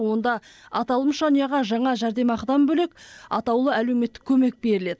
онда аталмыш жанұяға жаңа жәрдемақыдан бөлек атаулы әлеуметтік көмек беріледі